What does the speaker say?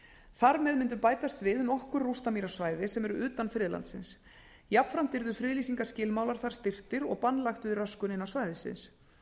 þar með myndu bætast við nokkur rústamýrasvæði sem eru utan friðlandsins jafnframt yrðu friðlýsingarskilmálar þar styrktir og bann lagt við röskun innan svæðisins